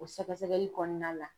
O sɛgɛsɛgɛli kɔnɔna la.